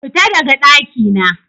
Fita daga ɗakina!